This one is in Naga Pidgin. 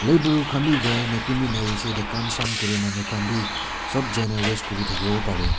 khan bi jai na kun bi nai hoishey eta kam sam kura manu khan bi sop jai na rest kurithake wo parae.